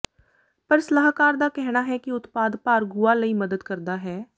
ਪਰ ਸਲਾਹਕਾਰ ਦਾ ਕਹਿਣਾ ਹੈ ਕਿ ਉਤਪਾਦ ਭਾਰ ਗੁਆ ਲਈ ਮਦਦ ਕਰਦਾ ਹੈ